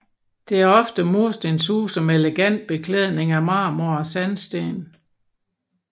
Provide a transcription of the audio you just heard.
Det er ofte murstenshuse med elegant beklædning af marmor eller sandsten